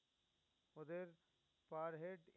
আমাদের per head